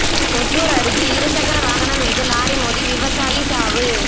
ஒசூா் அருகே இரு சக்கர வாகனம் மீது லாரி மோதி விவசாயி சாவு